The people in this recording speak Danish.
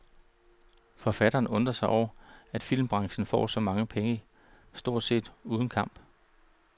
Forfatterne undrer sig over, at filmbranchen får så mange penge stort set uden kamp.